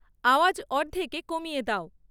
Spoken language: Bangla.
আওয়াজ অর্ধেকে কমিয়ে দাও